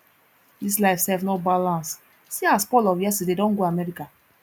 dis life sef no balance see as paul of yesterday don go america